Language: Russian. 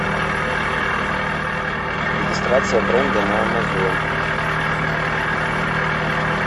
регистрация бренда на амазон